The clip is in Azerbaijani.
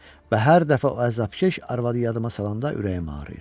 Və hər dəfə o əzabkeş arvadı yadıma salanda ürəyim ağrıyır.